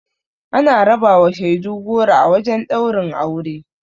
Ana rabawa shaidu goro a wajen ɗaurin aure.